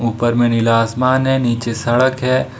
ऊपर में नीला आसमान है नीचे सड़क है।